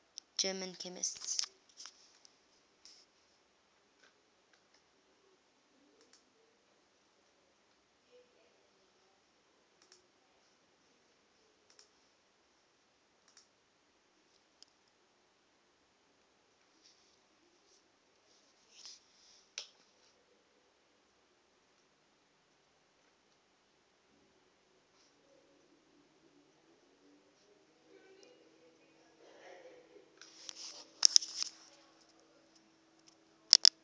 german chemists